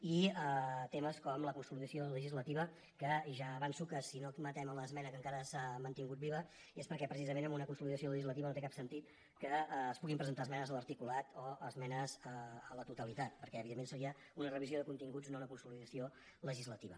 i temes com la consolidació legislativa que ja avanço que si no admetem l’esmena que encara s’ha mantingut viva és perquè precisament amb una consolidació legislativa no té cap sentit que es puguin presentar esmenes a l’articulat o esmenes a la totalitat perquè evidentment seria una revisió de continguts no una consolidació legislativa